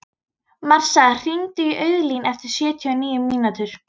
Marsa, hringdu í Auðlín eftir sjötíu og níu mínútur.